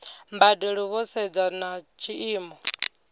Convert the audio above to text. mbadelo vho sedza na tshiimo